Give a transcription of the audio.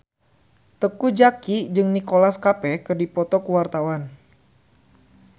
Teuku Zacky jeung Nicholas Cafe keur dipoto ku wartawan